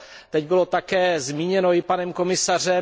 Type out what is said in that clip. Teď bylo také zmíněno i panem komisařem.